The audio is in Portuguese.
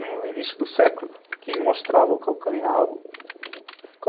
No início do século, quem mostrava o calcanhar